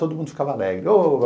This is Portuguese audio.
Todo mundo ficava alegre.